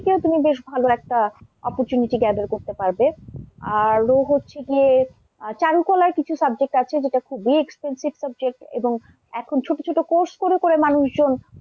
থেকেও তুমি বেশ ভাল একটা opportunity gather করতে পারবে। আরো হচ্ছে গিয়ে চারুকলার কিছু subject আছে যেটা খুবই expensive subject এবং এখন ছোট ছোট course করে করে মানুষজন,